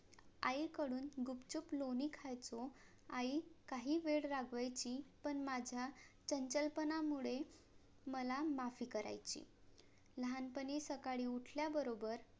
आई कडून गुपचूप लोणी खायचो आई काही वेळ रागवायची पण माझ्या चंचल पणा मुळे मला माफी करायची लहानपणी सकाळी उठल्या बरोबर